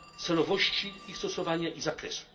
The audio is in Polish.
celowości ich stosowania i zakresu.